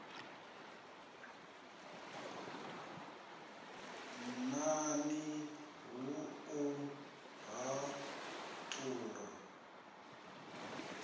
n ani ha u haṱula